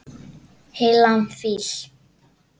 Heilan fíl.